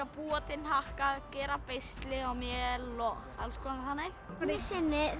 búa til hnakka gera beisli og mél og alls konar þannig einu sinni